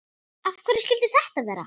Af hverju skyldi þetta vera?